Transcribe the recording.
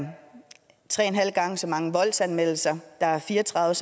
tre og en halv gang så mange voldsanmeldelser at der er fire og tredive